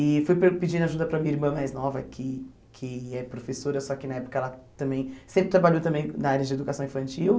E fui per pedindo ajuda para minha irmã mais nova, que que é professora, só que na época ela também sempre trabalhou também na área de educação infantil.